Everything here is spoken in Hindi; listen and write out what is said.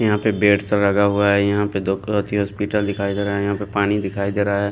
यहाँ पे बेड्स लगा हुआ हैं यहाँ पे दोकावती हॉस्पिटल दिखाई दे रहा है यहाँ पे पानी दिखाई दे रहा है।